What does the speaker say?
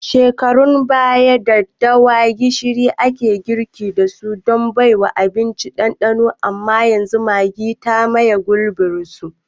Shekarun baya, daddawada gishiri ake girki dasu don baiwa abinci ɗanɗanon amma yanzu Maggi ta maye gurbin su.